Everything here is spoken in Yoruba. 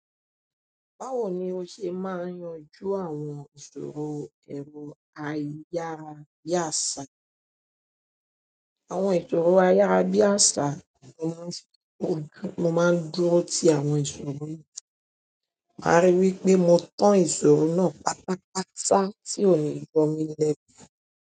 Báwo ni o ṣe máa yanjú àwọn ìṣòro ẹrù ayárabíàṣá? Àwọn ìṣòro ayárabíàṣá ni mo máa ń dúró ti àwọn ìṣòro mi, màá rí i wí pé mo tan ìṣòro náà pátápátá tí ò ní yọ mí lẹ́nu.